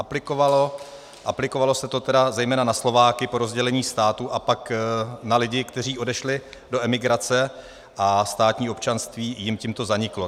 Aplikovalo se to tedy zejména na Slováky po rozdělení státu a pak na lidi, kteří odešli do emigrace, a státní občanství jim tímto zaniklo.